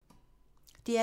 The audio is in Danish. DR P2